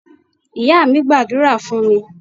Ìyá mí gbàdúrà fún mi